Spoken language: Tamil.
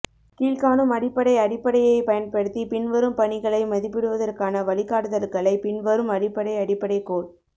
கீழ்காணும் அடிப்படை அடிப்படையைப் பயன்படுத்தி பின்வரும் பணிகளை மதிப்பிடுவதற்கான வழிகாட்டுதல்களை பின்வரும் அடிப்படை அடிப்படை கோல்